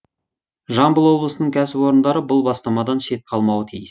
жамбыл облысының кәсіпорындары бұл бастамадан шет қалмауы тиіс